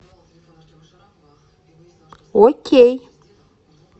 окей